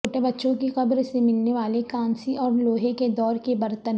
چھوٹے بچوں کی قبر سے ملنے والے کانسی اور لوہے کے دور کے برتن